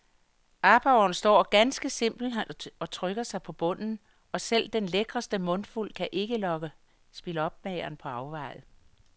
Aborren står ganske simpelt og trykker sig på bunden, og selv den lækreste mundfuld kan ikke lokke spilopmageren på afveje.